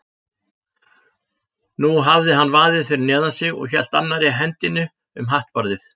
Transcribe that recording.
Nú hafði hann vaðið fyrir neðan sig og hélt annarri hendinni um hattbarðið.